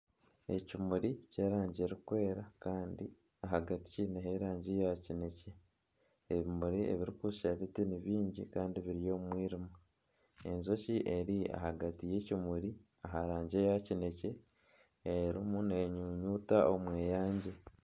Ekimuri ky'erangi erikwera kandi ahagati kiineho erangi ya kinekye. Ebimuri ebirikushusha biti ni bingi kandi biri omu mwirima. Enjoki eri ahagati y'ekimuri aha rangi eya kinekye erimu nenyunyuuta omweyangye.